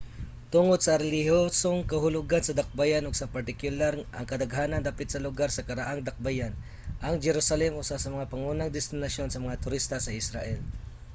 tungod sa relihiyosong kahulugan sa dakbayan ug sa partikular ang kadaghanang dapit sa lugar sa karaang dakbayan ang jerusalem usa sa mga pangunang destinasyon sa mga turista sa israel